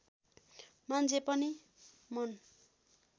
मान्छे पनि मन